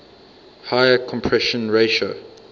higher compression ratio